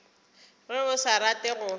ge o sa rate go